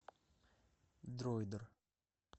дроидер